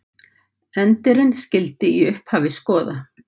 Endirinn skyldi í upphafi skoða.